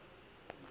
wa o k matsepe a